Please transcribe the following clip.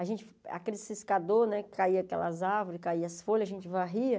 A gente aquele ciscador né que caia aquelas árvores, caia as folhas, a gente varria.